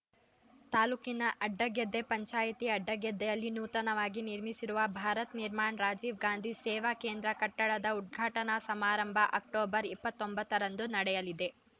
ತಾಲೂಕಿನ ಅಡ್ಡಗೆದ್ದೆ ಪಂಚಾಯಿತಿ ಅಡ್ಡಗೆದ್ದೆಯಲ್ಲಿ ನೂತನವಾಗಿ ನಿರ್ಮಿಸಿರುವ ಭಾರತ್‌ ನಿರ್ಮಾಣ್‌ ರಾಜೀವ ಗಾಂಧಿ ಸೇವಾ ಕೇಂದ್ರ ಕಟ್ಟಡದ ಉದ್ಘಾಟನಾ ಸಮಾರಂಭ ಅಕ್ಟೋಬರ್ ಇಪ್ಪತ್ತ್ ಒಂಬತ್ತ ರಂದು ನಡೆಯಲಿದೆ